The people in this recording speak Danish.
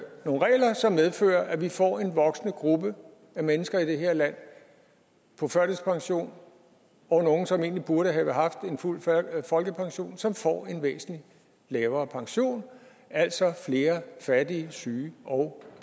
nogle regler som medfører at vi får en voksende gruppe af mennesker i det her land på førtidspension og nogle som egentlig burde have haft en fuld folkepension som får en væsentlig lavere pension altså flere fattige syge og